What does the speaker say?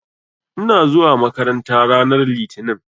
Ina zuwa makaranta ranar Litinin.